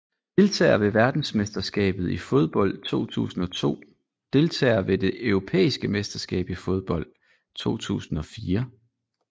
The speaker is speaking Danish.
Deltagere ved verdensmesterskabet i fodbold 2002 Deltagere ved det europæiske mesterskab i fodbold 2004